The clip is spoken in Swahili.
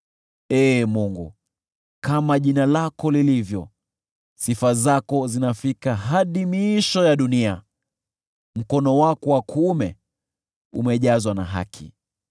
Ee Mungu, kama jina lako lilivyo, sifa zako zinafika hadi miisho ya dunia, mkono wako wa kuume umejazwa na haki.